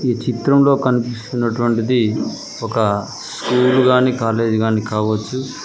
ఈ చిత్రంలో కనిపిస్తున్నటువంటిది ఒక స్కూలు గాని కాలేజీ గాని కావచ్చు.